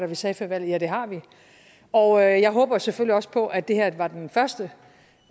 vi sagde før valget ja det har vi og jeg håber selvfølgelig også på at det her var den første